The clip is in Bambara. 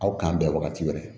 Aw kan bɛ wagati wɛrɛ